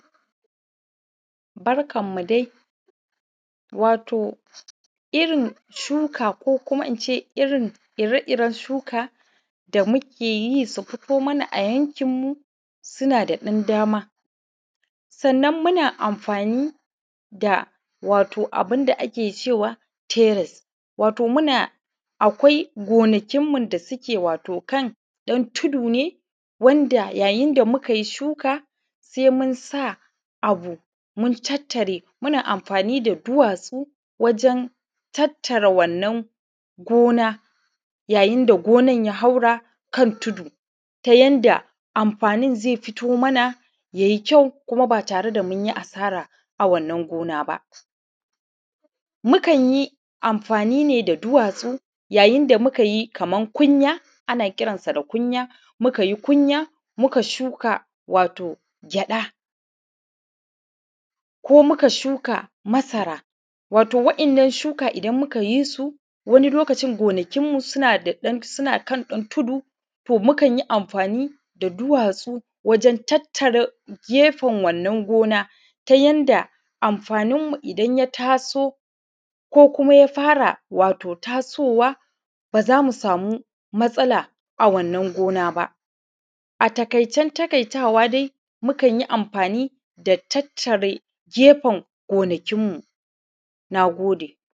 Barkanmu dai wato irin shuka ko kuma in ce irin ire-iren shuka da muke yi su fito mana a yankinmu suna da ɗan dama sannan muna amfani da wato abun da ake cewa teres wato muna akwai gonakinmu da suke wato kan ɗan tudu ne wanda yayin da muka yi shuka se muna abu mun tattare muna amfani da duwatsu wajen tattare wannan gona yayin da gonan ya haura kan tudu ta yanda amfani ne ze fito mana ya yi kyau kuma ba tare da mun yi asara a wannan gona ba mu kan yi amfani ne da duwatsu yayin da ƙunya kaman kunya ana kiransa da kunya mukan yi kunya muka shuka wato gyada ko muka shuka masara wato wadan shuka idan muka ye su wanni lokacin gonakinmu suna ɗan ɗan kan ɗan tudu to mukan yi amfani da duwatsu wajen tattare gefen wannan gona ta yanda amfaninmu idan ya taso ko kuma ya fara wato tasowa ba za mu samu matsala a wannan gona ba a taƙaicen-taƙaitawa dai mukan yi amfani da tattare gefen gonakinmu. Na gode.